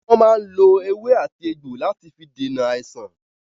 Wọn máa ń lò èwe àti egbò láti fi dènà àìsàn.